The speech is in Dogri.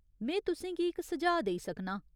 में तु'सें गी इक सुझाऽ देई सकनां।